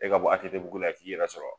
E ka bɔ ATTBugu la yan k'i yɛrɛ sɔrɔ